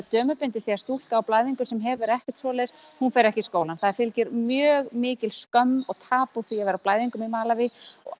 dömubindi því stúlka á blæðingum sem hefur ekkert svoleiðis hún fer ekki í skólann það fylgir mjög mikil skömm og tabú að vera á blæðingum í Malaví